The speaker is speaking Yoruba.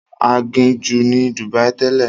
Aginjù ni Dubai tẹ́lẹ̀.